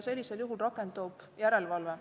Sellisel juhul rakendub järelevalve.